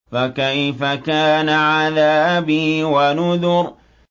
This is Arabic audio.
فَكَيْفَ كَانَ عَذَابِي وَنُذُرِ